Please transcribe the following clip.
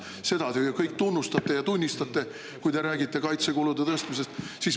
Seda te ju kõik tunnistate, kui te räägite kaitsekulude tõstmisest.